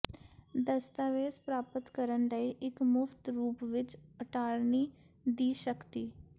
ਦਸਤਾਵੇਜ਼ ਪ੍ਰਾਪਤ ਕਰਨ ਲਈ ਇੱਕ ਮੁਫ਼ਤ ਰੂਪ ਵਿਚ ਅਟਾਰਨੀ ਦੀ ਸ਼ਕਤੀ